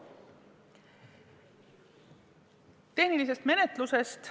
Tehniline menetlus.